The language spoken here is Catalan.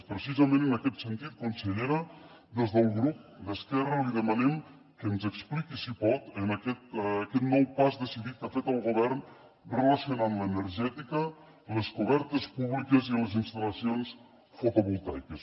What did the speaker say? precisament en aquest sentit consellera des del grup d’esquerra li demanem que ens expliqui si pot amb aquest nou pas decidit que ha fet el govern relacionant l’energètica les cobertes públiques i les instal·lacions fotovoltaiques